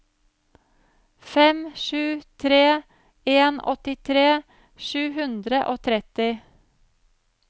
fem sju tre en åttitre sju hundre og tretti